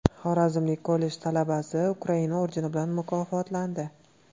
Xorazmlik kollej talabasi Ukraina ordeni bilan mukofotlandi.